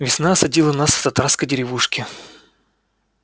весна осадила нас в татарской деревушке